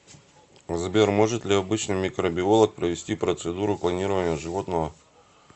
сбер может ли обычный микробиолог провести процедуру клонирования животного